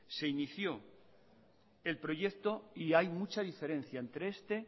se inició el proyecto y hay mucha diferencia entre este